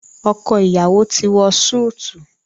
ọkọ iyawo ti wọ Súìtì